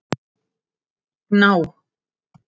Gná